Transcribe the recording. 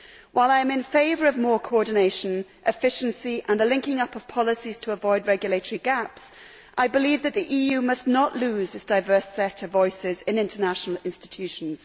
While I am in favour of more coordination, efficiency and the linking up of policies to avoid regulatory gaps, I believe that the EU must not lose its diverse set of voices in international institutions.